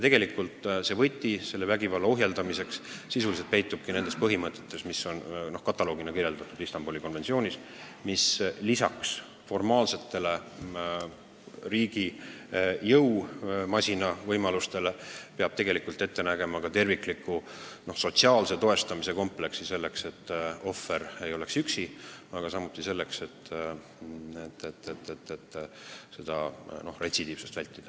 Ja võti selle vägivalla ohjeldamiseks peitub nendes põhimõtetes, mis on kataloogina toodud Istanbuli konventsioonis, mis lisaks formaalsetele riigi jõumasina võimalustele peab ette nägema ka tervikliku sotsiaalse toestamise kompleksi selleks, et ohver ei oleks üksi, aga samuti selleks, et retsidiivsust vältida.